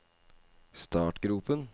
startgropen